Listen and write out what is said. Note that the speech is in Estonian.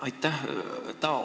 Aitäh!